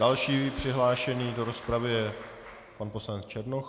Další přihlášený do rozpravy je pan poslanec Černoch.